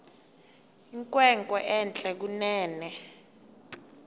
inkwenkwe entle kunene